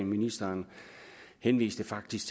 ministeren henviste faktisk